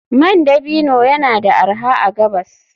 Man dabino yana da arha a gabas.